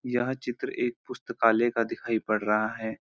यह चित्र एक पुस्‍तकालय का दिखाई पड़ रहा है।